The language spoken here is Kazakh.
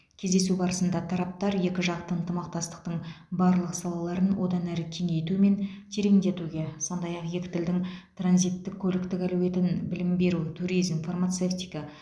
кездесу барысында тараптар екіжақты ынтымақтастықтың барлық салаларын одан әрі кеңейту мен тереңдетуге сондай ақ екі тілдің транзиттік көліктік әлеуетін білім беру туризм фармацевтика